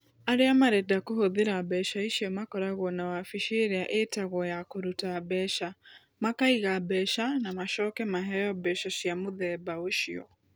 Arĩa marenda kũhũthĩra mbeca icio makoragwo na wabici ĩrĩa ĩĩtagwo ya kũruta mbeca, makaiga mbeca na macoke maheo mbeca cia mũthemba ũcio.